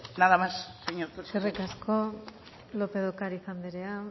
nada más eskerrik asko lópez de ocariz anderea